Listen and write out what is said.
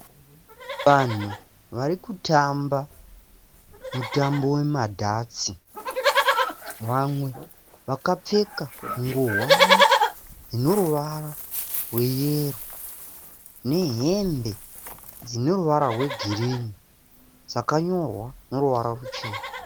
Vanhu vari kutamba mutambo we madhatsi. Vamwe vakapfeka ngowani ine ruvara rweyero nehembe dzine ruvara rwegirinhi dzakanyorwa neruvara ruchena.